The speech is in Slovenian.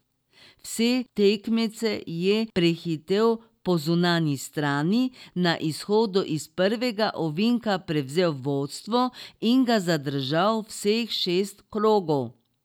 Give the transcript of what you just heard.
Vse tekmece je prehitel po zunanji strani, na izhodu iz prvega ovinka prevzel vodstvo in ga zadržal vseh šest krogov.